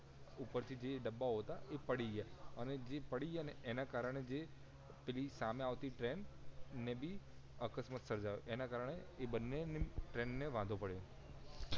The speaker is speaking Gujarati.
ઉપર થી જે ડબ્બા હતા એ પડી ગયા અને જે પડી ગયા ને એના કારણએ જે પેલી સામે આવતી ટ્રેન ને ભી અકસ્માત સર્જાયો એના કારણએ એ બંને ટ્રેન ને વાંધો પડિયો